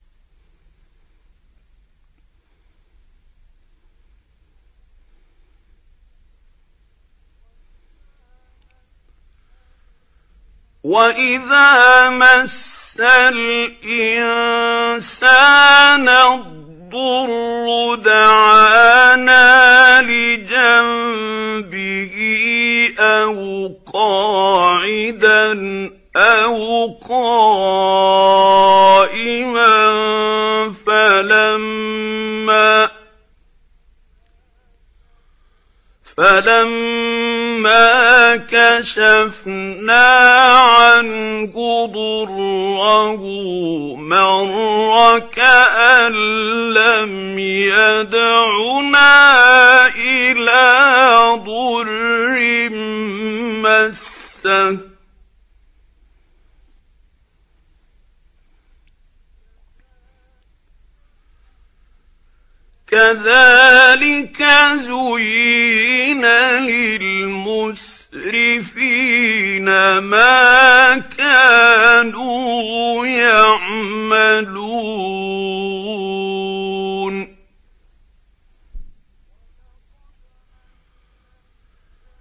وَإِذَا مَسَّ الْإِنسَانَ الضُّرُّ دَعَانَا لِجَنبِهِ أَوْ قَاعِدًا أَوْ قَائِمًا فَلَمَّا كَشَفْنَا عَنْهُ ضُرَّهُ مَرَّ كَأَن لَّمْ يَدْعُنَا إِلَىٰ ضُرٍّ مَّسَّهُ ۚ كَذَٰلِكَ زُيِّنَ لِلْمُسْرِفِينَ مَا كَانُوا يَعْمَلُونَ